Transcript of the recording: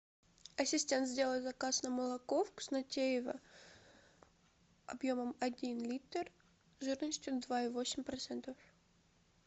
ассистент сделай заказ на молоко вкуснотеево объемом один литр жирностью два и восемь процентов